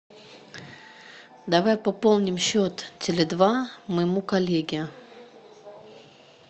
давай пополним счет теле два моему коллеге